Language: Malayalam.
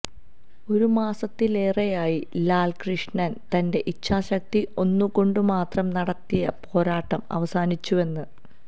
ഒരു മാസത്തിലേറെയായി ലാല്കൃഷ്ണന് തന്റെ ഇച്ഛാശക്തി ഒന്നുകൊണ്ടുമാത്രം നടത്തിയ പോരാട്ടം അവസാനിച്ചുവെന്ന്